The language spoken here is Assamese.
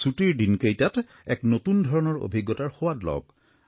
ছুটিৰ দিনকেইটাত এক নতুন ধৰণৰ অভিজ্ঞতাৰ সোৱাদ লওক